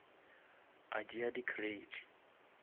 a tšea di crate